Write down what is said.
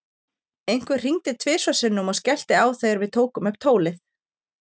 Einhver hringdi tvisvar sinnum og skellti á þegar við tókum upp tólið.